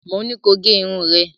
Mo ní ko gẹ irun rẹ̀.